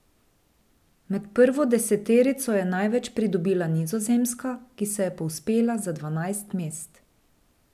Med prvo deseterico je največ pridobila Nizozemska, ki se je povzpela za dvanajst mest.